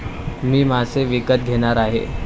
मी मासे विकत घेणार आहे.